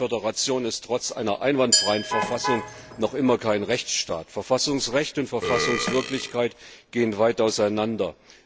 Die Russische Föderation ist trotz einer einwandfreien Verfassung noch immer kein Rechtsstaat, Verfassungsrecht und Verfassungswirklichkeit gehen weit auseinander.